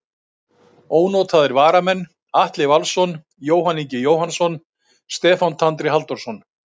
Ónotaðir varamenn: Atli Valsson, Jóhann Ingi Jóhannsson, Stefán Tandri Halldórsson.